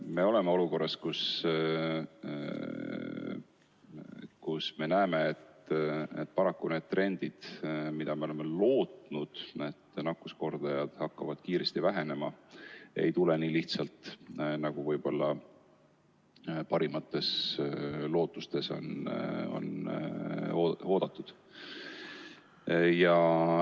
Me oleme olukorras, kus me näeme, et paraku see loodetud trend, et nakkuskordaja hakkab kiiresti vähenema, ei tule nii lihtsalt, nagu on võib-olla oodatud.